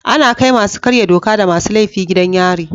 Ana kai masu karya doka da masu laifi gidan yari.